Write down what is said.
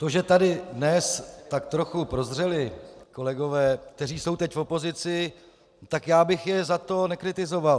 To, že tady dnes tak trochu prozřeli kolegové, kteří jsou teď v opozici, tak já bych je za to nekritizoval.